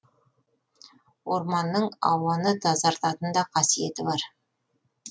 орманның ауаны тазартатын да қасиеті бар